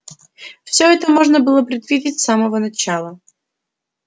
все это можно было предвидеть с самого начала